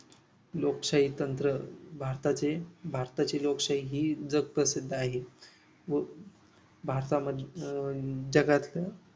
लोकशाही तंत्र भारताचे भारताची लोकशाही ही जगप्रसिद्ध आहे व भारतामध्ये अं जगातल्या